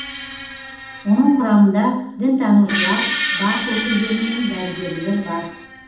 оның құрамында дінтанушылар бақ өкілдері мен дәрігерлер бар